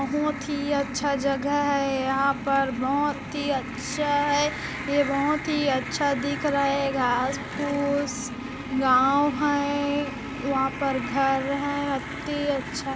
यह बहुत ही अच्छा जगह है यहाँ पर यह बहुत ही अच्छा है ये बहुत ही अच्छा दिख रहा है घास-फुस गांव है यहाँ पर घर है अती अच्छा है।